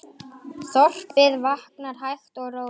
Þorpið vaknar hægt og rólega.